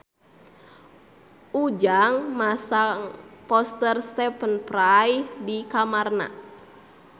Ujang masang poster Stephen Fry di kamarna